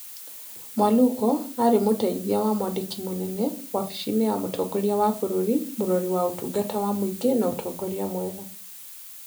Mwaluko aarĩ Mũteithia wa Mwandĩki Mũnene, Wabici ya Mũtongoria wa Bũrũri, Mũrori wa Ũtungata wa Mũingĩ na Ũtongoria Mwega.